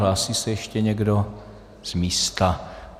Hlásí se ještě někdo z místa?